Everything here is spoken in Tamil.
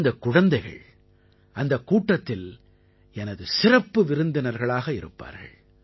இந்தக் குழந்தைகள் அந்தக் கூட்டத்தில் எனது சிறப்பு விருந்தினர்களாக இருப்பார்கள்